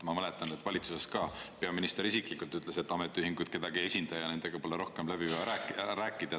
Ma mäletan, et valitsuses ka peaminister isiklikult ütles, et ametiühingud kedagi ei esinda ja nendega pole rohkem vaja läbi rääkida.